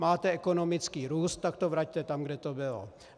Máte ekonomický růst, tak to vraťte tam, kde to bylo.